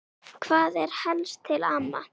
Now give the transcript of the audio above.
Hvað er helst til ama?